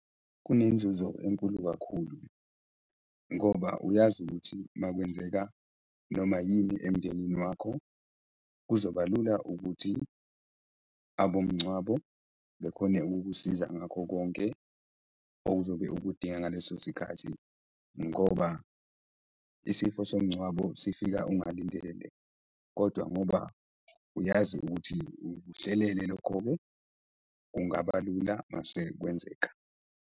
Kunenzuzo enkulu kakhulu ngoba uyazi ukuthi makwenzeka noma yini emndenini wakho, kuzoba lula ukuthi abomngcwabo bekhone ukukusiza ngakho konke ozobe ukudinga ngaleso sikhathi ngoba isifo somngcwabo sifika ungalindele kodwa ngoba uyazi ukuthi ukuhlelele lokho-ke, kungaba lula masekwenzeka.